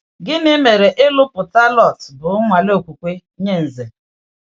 Gịnị mere ịlụ̀pụta Lọt bụ nnwale okwukwe nye Ǹzè?